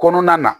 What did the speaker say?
Kɔnɔna na